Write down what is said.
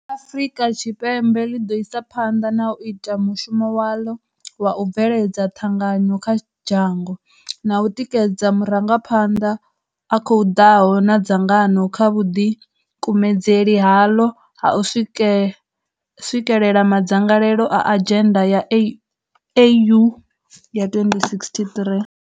Afrika Tshipembe ḽi ḓo isa phanḓa na u ita mushumo waḽo wa u bveledza ṱhanganyo kha dzhango, na u tikedza murangaphanḓa a khou ḓaho na dzangano kha vhuḓikumedzeli haḽo ha u swikekela madzangalelo a adzhenda ya AU ya 2063.